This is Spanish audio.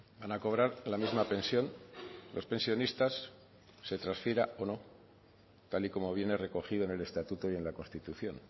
van a cobrar la misma pensión los pensionistas se transfiera o no tal y como viene recogido en el estatuto y en la constitución